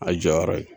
A jɔyɔrɔ ye